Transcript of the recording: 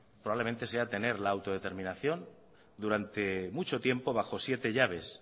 probablemente sea tener la autodeterminación durante mucho tiempo bajo siete llaves